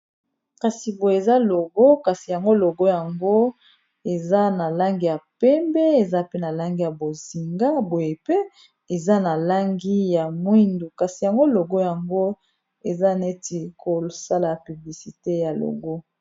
Kasi boye eza logo kasi yango logo yango eza na langi ya pembe, eza pe na langi ya bozinga, boye pe eza na langi ya mwindu kasi yango logo yango eza neti kosala piblisite ya logo.